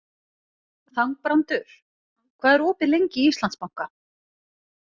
Þangbrandur, hvað er opið lengi í Íslandsbanka?